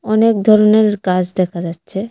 অনেক ধরনের গাছ দেখা যাচ্ছে।